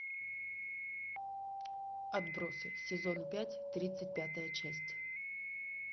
отбросы сезон пять тридцать пятая часть